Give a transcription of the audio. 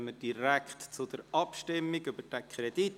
Somit kommen wir direkt zur Abstimmung über diesen Kredit.